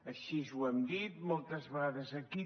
així ho hem dit moltes vegades aquí